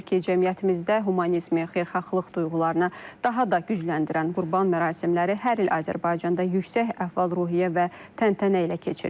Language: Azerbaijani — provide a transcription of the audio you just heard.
cəmiyyətimizdə humanizmi, xeyirxahlıq duyğularına daha da gücləndirən Qurban mərasimləri hər il Azərbaycanda yüksək əhval-ruhiyyə və təntənə ilə keçirilir.